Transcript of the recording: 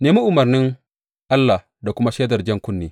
Nemi umarnin Allah da kuma shaidar jan kunne.